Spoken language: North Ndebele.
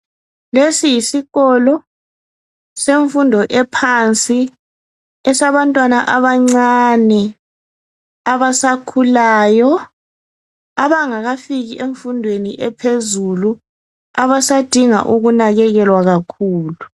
Lesi yisikolo semfundo ephansi esabantwana abancane abasakhulayo abangakafiki emfundweni ephezulu abasadinga ukunakekelwa kakhulu.